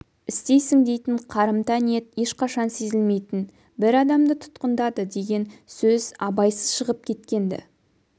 істейсің дейтін қарымта ниет ешқашан сезілмейтін бір адамды тұтқындады деген сөз абайсыз шығып кеткенді